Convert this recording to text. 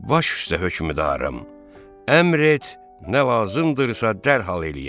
Baş üstə hökmdarım, əmr et, nə lazımdırsa dərhal eləyək.